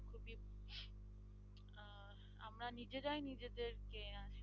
আমরা নিজেরাই নিজেদেরকে